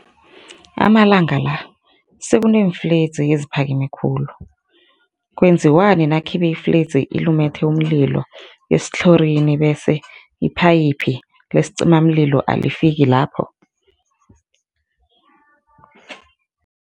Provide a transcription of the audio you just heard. Amalanga la sekuneemfledzi eziphakeme khulu. Kwenziwani nakhibe ifledzi ilumethe umlilo esithlorini bese iphayiphi lesicimamlilo alifiki lapho?